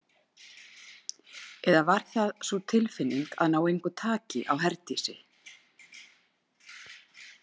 Eða var það sú tilfinning að ná engu taki á Herdísi?